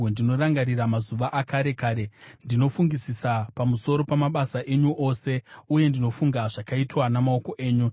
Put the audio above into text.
Ndinorangarira mazuva akare kare; ndinofungisisa pamusoro pamabasa enyu ose, uye ndinofunga zvakaitwa namaoko enyu.